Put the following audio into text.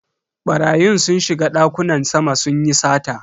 Barayin sun shiga dakunan sama sunyi sata.